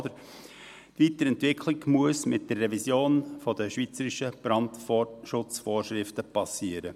Die Weiterentwicklung muss mit der Revision der schweizerischen Brandschutzvorschriften erfolgen.